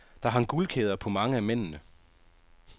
Der hang guldkæder på mange af mændene.